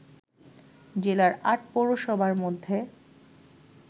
জেলার ৮ পৌরসভার মধ্যে